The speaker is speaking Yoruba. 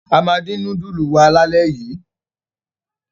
A máa dín núdúlù wa lálẹ́ yìí!